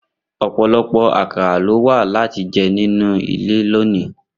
Opolopo akara lo wa lati je ninu ile loni.